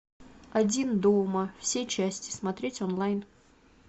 один дома все части смотреть онлайн